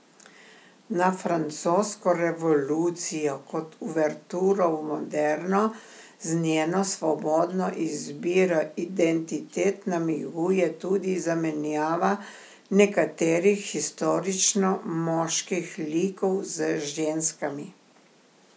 Na francosko revolucijo kot uverturo v moderno z njeno svobodno izbiro identitet namiguje tudi zamenjava nekaterih historično moških likov z ženskami.